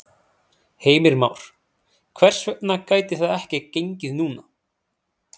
Heimir Már: Hvers vegna gæti það ekki gengið núna?